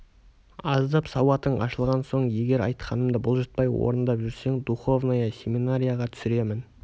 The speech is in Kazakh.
аздап сауатың ашылған соң егер айтқанымды бұлжытпай орындап жүрсең духовная семинарияға түсіремін